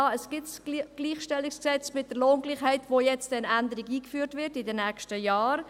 Ja, es gibt das GlG mit der Lohngleichheit, in welchem in den nächsten Jahren eine Änderung eingeführt wird.